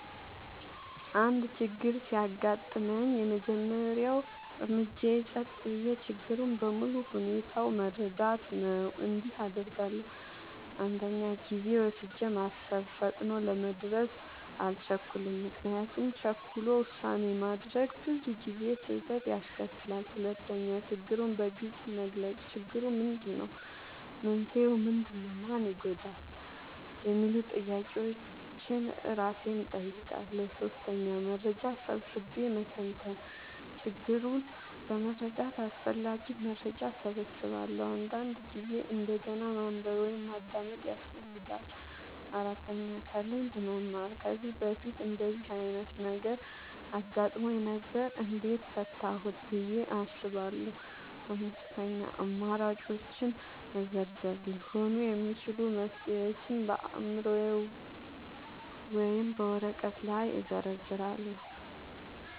አንድ ችግር ሲያጋጥመኝ፣ የመጀመሪያው እርምጃዬ ጸጥ ብዬ ችግሩን በሙሉ ሁኔታው መረዳት ነው። እንዲህ አደርጋለሁ፦ 1. ጊዜ ወስጄ ማሰብ – ፈጥኖ ለመድረስ አልቸኩልም፤ ምክንያቱም ቸኩሎ ውሳኔ ማድረግ ብዙ ጊዜ ስህተት ያስከትላል። 2. ችግሩን በግልጽ መግለጽ – "ችግሩ ምንድነው? መንስኤው ምንድነው? ማን ይጎዳል?" የሚሉ ጥያቄዎችን እራሴን እጠይቃለሁ። 3. መረጃ ሰብስቤ መተንተን – ችግሩን ለመረዳት አስፈላጊ መረጃ እሰበስባለሁ፤ አንዳንድ ጊዜ እንደገና ማንበብ ወይም ማዳመጥ ያስፈልጋል። 4. ከልምድ መማር – "ከዚህ በፊት እንደዚህ ዓይነት ነገር አጋጥሞኝ ነበር? እንዴት ፈታሁት?" ብዬ አስባለሁ። 5. አማራጮችን መዘርዘር – ሊሆኑ የሚችሉ መፍትሄዎችን በአእምሮዬ ወይም በወረቀት ላይ እዘርዝራለሁ።